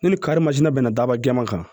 Ne ni kari mazin bɛna bɛnna dababa jɛman kan